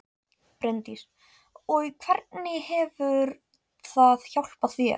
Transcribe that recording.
Bryndís: Og hvernig hefur það hjálpað þér?